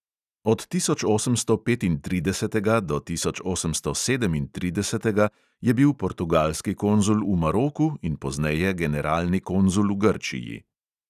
Od tisočosemstopetintridesetega do tisočosemstosedemintridesetega je bil portugalski konzul v maroku in pozneje generalni konzul v grčiji.